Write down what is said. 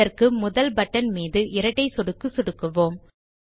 இதற்கு முதல் பட்டன் மீது இரட்டை சொடுக்கு சொடுக்குவோம்